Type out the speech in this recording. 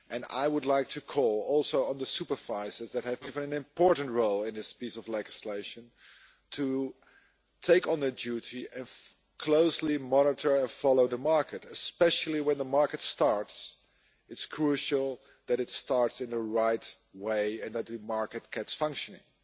I would like to call also on the supervisors that have been given an important role in this piece of legislation to take on the duty of closely monitoring and following the market, especially when the market starts it is crucial that it starts in the right way, and that the market gets functioning.